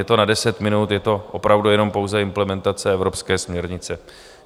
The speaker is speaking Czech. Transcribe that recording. Je to na deset minut, je to opravdu jenom pouze implementace evropské směrnice.